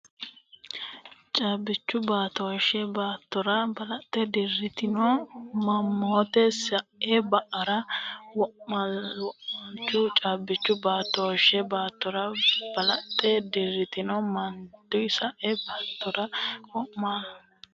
Caabbichu baatooshshe baattara balaxxe dirantino mannota sae baatara wo’naalannohu Caabbichu baatooshshe baattara balaxxe dirantino mannota sae baatara wo’naalannohu Caabbichu baatooshshe.